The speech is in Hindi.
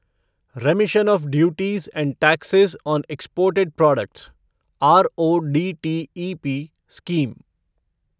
रेमिशन of duties and taxes on exported products RoDTEP scheme